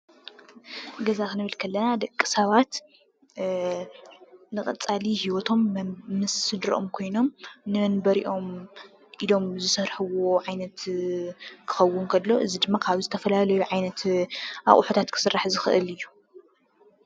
ገዛ ክንብል ከለና ደቂ ሰባት ንቀፃሊ ህወቶም ምስ ስድርኦም ኮይኖም ንመንበሪኦም ኢሎም ዝሰርሕዎ ዓይነት ክከውን ከሎ እዚ ድማ ካብ ዝተፈላለዩ ዓይነት ኣቁሑታት ክስራሕ ዝክእል እዩ ።